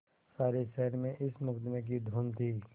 सारे शहर में इस मुकदमें की धूम थी